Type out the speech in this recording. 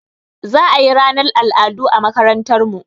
Za a yi ranar al'adu a makarantar mu